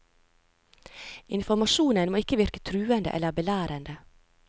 Informasjonen må ikke virke truende eller belærende.